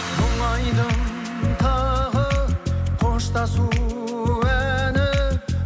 мұңайдың тағы қоштасу әні